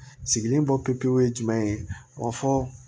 Sigilen bɔ pepewu fɔ